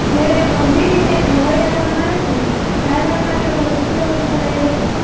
જયારે ગંભીર રીતે ઘવાયેલા માનવને સારવાર માટે હોસ્પિટલ ખસેડાયો હતો